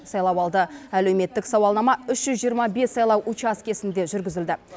сайлауалды әлеуметтік сауалнама үш жүз жиырма бес сайлау учаскесінде жүргізілді